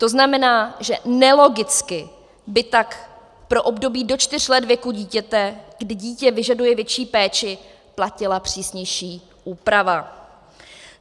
To znamená, že nelogicky by tak pro období do 4 let věku dítěte, kdy dítě vyžaduje větší péči, platila přísnější úprava.